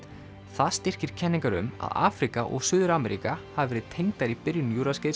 það styrkir kenningar um að Afríka og Suður Ameríka hafi verið tengdar í byrjun